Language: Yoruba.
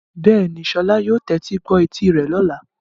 Bẹ́ẹ̀ni, Sola yóò tẹ́tí gbọ́ etí rẹ̀ lọ́la.